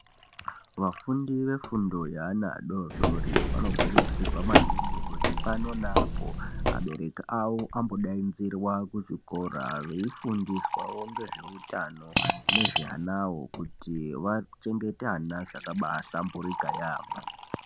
Vafundi vefundo yaana adodori vanokurudzirwa maningi kuti pano neapo abereki awo ambodainzirwa kuchikora veifundiswawo ngezveutano nezveanawo kuti vachengete vana zvakabahlamburika yaampho.